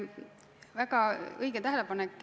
Väga õige tähelepanek.